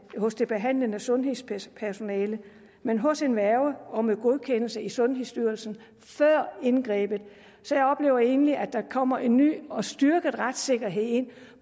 hos det behandlende sundhedspersonale men hos en værge og med godkendelse i sundhedsstyrelsen før indgrebet så jeg oplever egentlig at der kommer en ny og styrket retssikkerhed ind